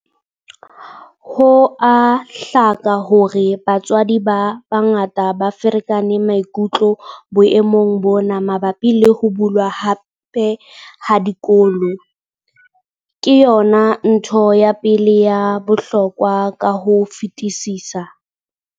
Ho a hlaka hore batswadi ba bangata ba ferekane maikutlo boemong bona mabapi le ho bulwa hape ha dikolo. Ke yona ntho ya pele ya bohlokwa ka ho fetisisa.